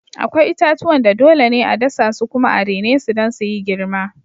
Akwai itatuwan da dole ne a dasa su kuma a rene su don su yi girma.